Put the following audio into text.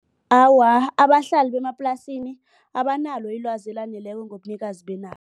Awa, abahlali bemaplasini abanalo ilwazi elaneleko ngobunikazi benarha.